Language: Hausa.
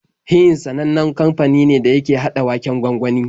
Heinz sanannen kamfani ne da yake haɗa waken gwangwani.